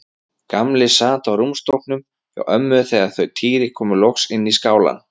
Gamli sat á rúmstokknum hjá ömmu þegar þau Týri komu loks inn í skálann.